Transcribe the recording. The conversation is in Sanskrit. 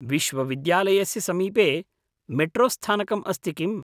विशविद्यायस्य समीपे मेट्रोस्थानकम् अस्ति किम्?